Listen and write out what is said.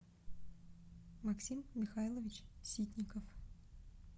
максим михайлович ситников